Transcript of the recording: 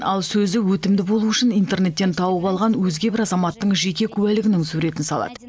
ал сөзі өтімді болуы үшін интернеттен тауып алған өзге бір азаматтың жеке куәлігінің суретін салады